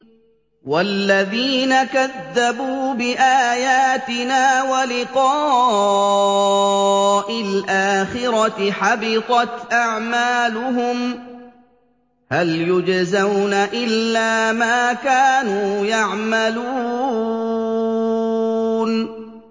وَالَّذِينَ كَذَّبُوا بِآيَاتِنَا وَلِقَاءِ الْآخِرَةِ حَبِطَتْ أَعْمَالُهُمْ ۚ هَلْ يُجْزَوْنَ إِلَّا مَا كَانُوا يَعْمَلُونَ